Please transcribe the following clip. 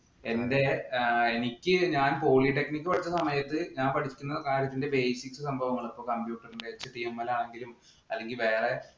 എനിക്ക് എന്‍റെ ഞാൻ polytechnic പഠിച്ച സമയത്ത് ഞാൻ പഠിക്കുന്ന കാര്യത്തിന്‍റെ basic സംഭവങ്ങള് ആണെങ്കിലും അല്ലെങ്കില്‍ വേറെ